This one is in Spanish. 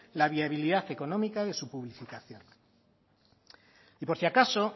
la viabilidad económica de su publicitación y por si acaso